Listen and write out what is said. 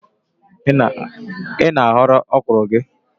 Ị na-aghọ ọkrọ gị?